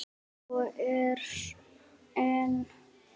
Svo er enn.